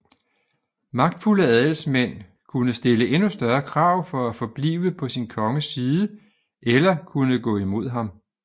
Magtfulde adelsmænd kunne stille endnu større krav for at forblive på sin konges side eller kunne gå imod ham